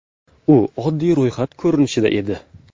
U oddiy ro‘yxat ko‘rinishida edi.